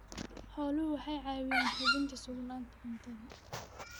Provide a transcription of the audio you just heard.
Xooluhu waxay caawiyaan hubinta sugnaanta cuntada.